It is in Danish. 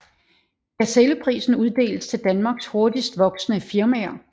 Gazelleprisen uddeles til Danmarks hurtigst voksende firmaer